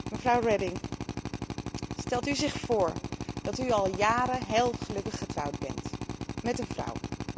Mevrouw Reding, stelt u zich voor dat u al jaren heel gelukkig getrouwd bent met een vrouw.